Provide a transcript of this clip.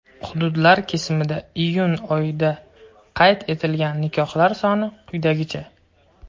Hududlar kesimida iyun oyida qayd etilgan nikohlar soni quyidagicha:.